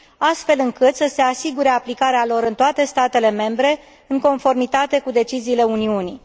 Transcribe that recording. astfel încât să se asigure aplicarea lor în toate statele membre, în conformitate cu deciziile Uniunii.